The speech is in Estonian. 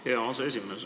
Hea aseesimees!